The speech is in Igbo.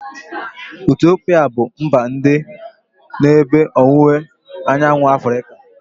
Etiopia abu mba dị n'ebe ọwụwa anyanwụ Afrịka?